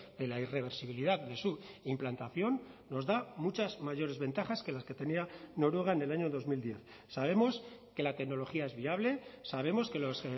de la irreversibilidad de su implantación nos da muchas mayores ventajas que las que tenía noruega en el año dos mil diez sabemos que la tecnología es viable sabemos que los